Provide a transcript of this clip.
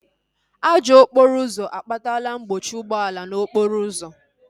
Ajọ okporo ụzọ akpatala mkpọchi ụgbọala n'okporo ụzọ